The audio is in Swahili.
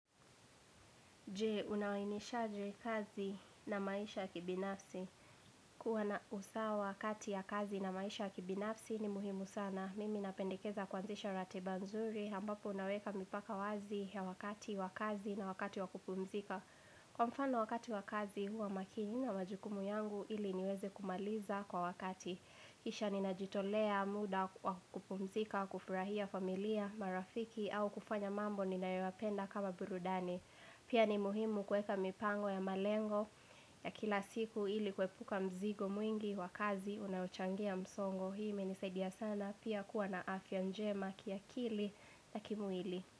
Je, unawainishaje kazi na maisha ya kibinafsi. Kuwa na usawa wakati ya kazi na maisha ya kibinafsi ni muhimu sana. Mimi napendekeza kuanzisha ratiba nzuri, ambapo naweka mipaka wazi ya wakati wa kazi na wakati wa kupumzika kwa mfano wakati wa kazi huwa makini na majukumu yangu ili niweze kumaliza kwa wakati kisha ninajitolea muda wa kupumzika wa kufurahia familia marafiki au kufanya mambo ninayoyapenda kama burudani pia ni muhimu kueka mipango ya malengo ya kila siku ili kuepuka mzigo mwingi wa kazi Unaochangia msongo hii imenisaidia sana pia kuwa na afya njema kiakili na kimwili.